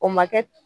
O ma kɛ